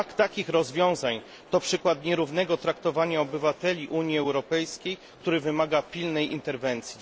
Brak takich rozwiązań to przykład nierównego traktowania obywateli Unii Europejskiej, który wymaga pilnej interwencji.